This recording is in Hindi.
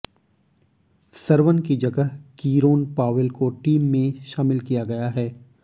सरवन की जगह कीरोन पावेल को टीम में शामिल किया गया है